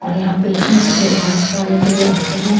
और यहां पेसेंट्स अपने इलाज करने के लिए आते हैं।